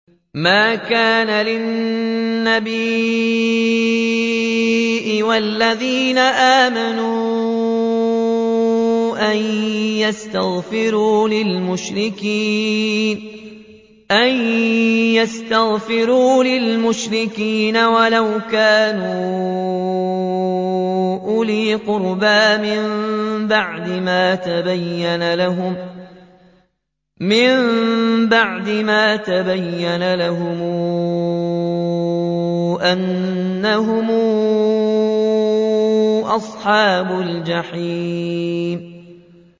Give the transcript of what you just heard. مَا كَانَ لِلنَّبِيِّ وَالَّذِينَ آمَنُوا أَن يَسْتَغْفِرُوا لِلْمُشْرِكِينَ وَلَوْ كَانُوا أُولِي قُرْبَىٰ مِن بَعْدِ مَا تَبَيَّنَ لَهُمْ أَنَّهُمْ أَصْحَابُ الْجَحِيمِ